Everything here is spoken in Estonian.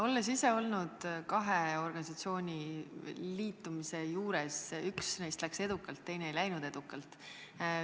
Olen ise olnud kahe organisatsiooni liitumise juures, üks neist läks edukalt, teine ei läinud edukalt.